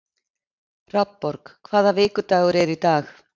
Hrafnborg, hvaða vikudagur er í dag?